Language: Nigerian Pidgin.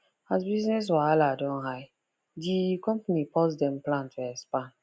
as business wahala don high di company pause dem plan to expand